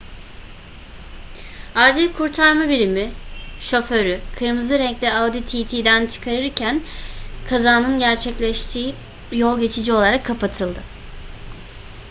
acil kurtarma birimi şoförü kırmızı renkli audi tt'den çıkarırken kazanın gerçekleştiği yol geçici olarak kapatıldı